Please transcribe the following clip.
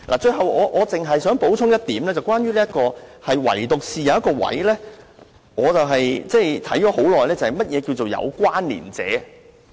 最後，我想補充一點，唯獨有一點我反覆研究良久，那就是何謂"有關連者"？